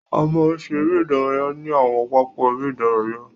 A máa ń ṣe eré ìdárayá ní àwọn pápá eré ìdárayá.